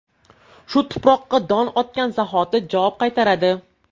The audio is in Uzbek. Shu tuproqqa don otgan zahoti javob qaytaradi.